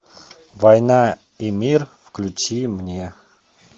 война и мир включи мне